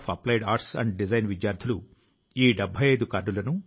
నేను ఈ గ్రీస్ విద్యార్థులను వారి ఉపాధ్యాయులను అభినందిస్తున్నాను